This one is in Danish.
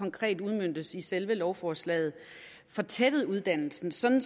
konkret udmøntes i selve lovforslaget fortættet uddannelsen sådan